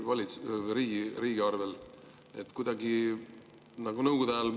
kuidagi nagu Nõukogude ajal?